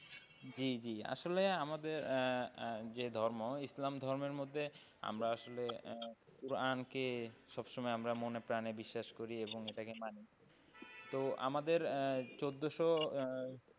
জি জি আসলে আমাদের আহ যে ধর্ম ইসলাম ধর্মের মধ্যে আমরা আসলে কোরআনকে সবসময় আমরা মনেপ্রাণে বিশ্বাস করি এবং এটাকে মানি তো আমাদের চোদ্দশো,